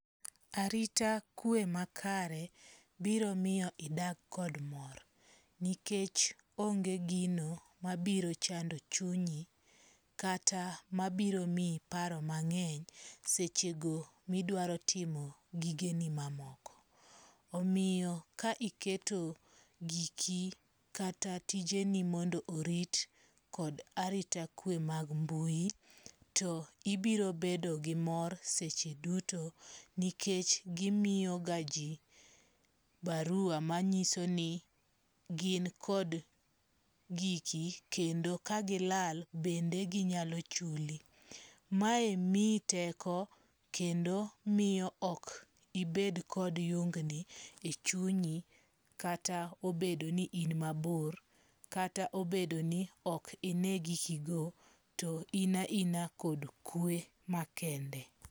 Arita kwe makare biro miyo idag kod mor. Nikech onge gino mabiro chando chunyi, kata mabiro miyi paro mang'eny seche go midwaro timo gigeni mamoko. Omiyo ka iketo giki kata tijeni mondo orit kod arita kwe mag mbui, to ibiro bedo gi mor seche duto. Nikech gimiyo ga ji barua manyiso ni gin kod giki kendo kagilal bende ginyalo chuli. Mae miyi teko kendo miyo ok ibed kod yungni e chunyi kata obedo ni in mabor, kata obedo ni ok ine giki go. To in a ina kod kwe makende.